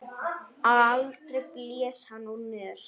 Aldrei blés hann úr nös.